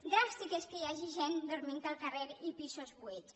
dràstic és que hi hagi gent dormint al carrer i pisos buits